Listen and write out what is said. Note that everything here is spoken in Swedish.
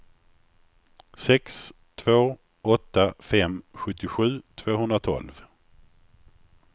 sex två åtta fem sjuttiosju tvåhundratolv